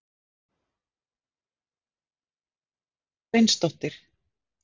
Kynnti líka konu sína sem hét Gréta Sveinsdóttir.